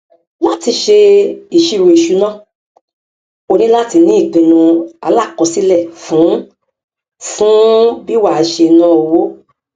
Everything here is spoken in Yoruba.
láti ṣe ìṣiròìṣúná o ní láti ní ìpinnu alákọṣílẹ fún fún bí wà á ṣe ná owó